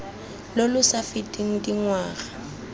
lo lo sa feteng dingwaga